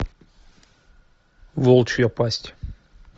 волчья пасть